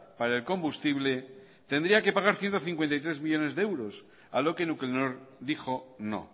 para el combustible tendría que pagar ciento cincuenta y tres millónes de euros a lo que nuclenor dijo no